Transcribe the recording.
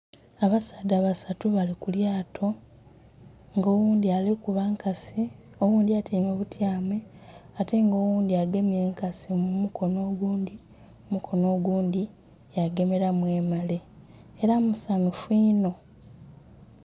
Abasaadha basatu bali ku lyaato nga oghundhi ali kuba nkasi, oghundhi atyaime butyame ate nga oghundhi agemye enkasi mu mukonho ogundhi, omukono oghundhi ya gemelamu emale era musanhufu inho.